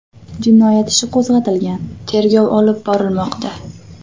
Jinoyat ishi qo‘zg‘atilgan, tergov olib borilmoqda.